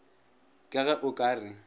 ka ge o ka re